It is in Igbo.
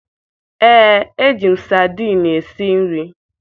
Ee, eji m sadiin esi nri